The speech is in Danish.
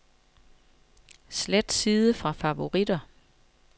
Slet side fra favoritter.